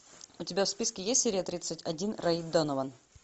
у тебя в списке есть серия тридцать один рэй донован